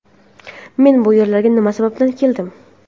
men bu yerlarga nima sababdan keldim?.